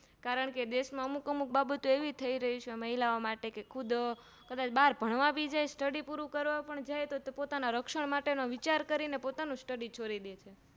કારણકે દેશ ના અમુક અમુક બાબતો એવી થઈ રહી છે મહિલા ઓં માટે કે ખુદ બાર ભણવાભી જાય છે study પુરું કરવા પણ જાય તો પોતાના રક્ષણ માટેનો વિચાર કરીને પોતાનું Study છોડી દે